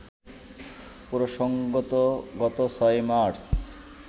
প্রসঙ্গত, গত ৬ মার্চ